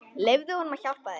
Leyfðu honum að hjálpa þér.